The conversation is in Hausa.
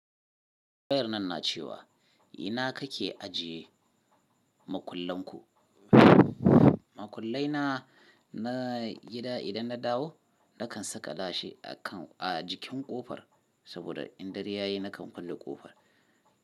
Wayar nan na cewa, ina kake ajiye makullenku? Makullai na, na gida, idan na dawo nakan sakalashi a kan, a jikin ƙofar saboda in dare yayi nakan kulle ƙofar.